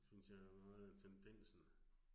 Synes jeg meget tendensen